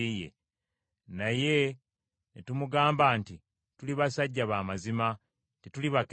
Naye ne tumugamba nti, Tuli basajja b’amazima, tetuli bakessi,